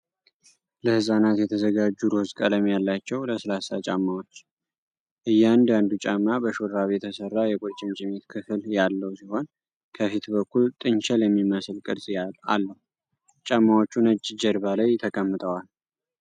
ለሕፃናት የተዘጋጁ ሮዝ ቀለም ያላቸው ለስላሳ ጫማዎች። እያንዳንዱ ጫማ በሹራብ የተሰራ የቁርጭምጭሚት ክፍል ያለው ሲሆን፣ ከፊት በኩል ጥንቸል የሚመስል ቅርጽ አለው። ጫማዎቹ ነጭ ጀርባ ላይ ተቀምጠዋል።